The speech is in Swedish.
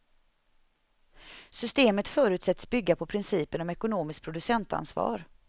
Systemet förutsätts bygga på principen om ekonomiskt producentansvar.